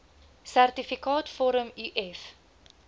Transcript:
sertifikaat vorm uf